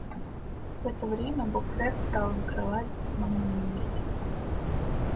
в это время бопре стал на кровати сном невинности